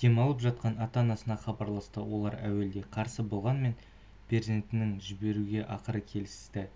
демалып жатқан ата-анасына хабарласты олар әуелде қарсы болғанмен перзенттерін жіберуге ақыры келісті